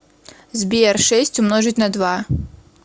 сбер шесть умножить на два